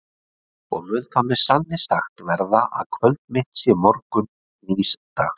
Og mun það með sanni sagt verða, að kvöld mitt sé morgunn nýs dags?